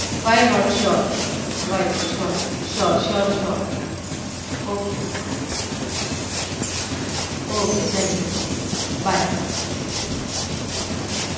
why not sure sure sure ok ok thank you bye.